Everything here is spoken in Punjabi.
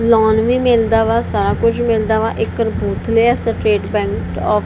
ਲੋਨ ਵੀ ਮਿਲਦਾ ਵਾ ਸਾਰਾ ਕੁਝ ਮਿਲਦਾ ਵਾ ਇਹ ਕਪੂਰਥਲੇ ਆ ਸਟੇਟ ਬੈਂਕ ਆਫ --